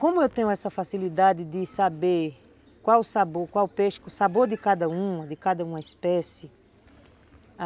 Como eu tenho essa facilidade de saber qual sabor, qual peixe, o sabor de cada uma, de cada uma espécie.